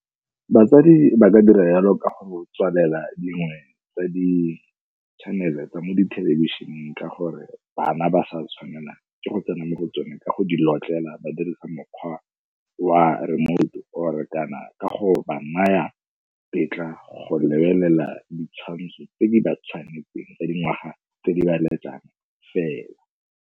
Batsadi ba ka dira yalo ka go tswalela dingwe tsa di-channel-e tsa mo dithelebišeneng ka gore bana ba sa tshwanela ke go tsena mo go tsone ka go di notlela ba dirisa mokgwa wa remote or-e kana ka go ba naya tetla go lebelela ditshwantsho tse di ba tshwanetseng ba dingwaga tse di ba letlang fela.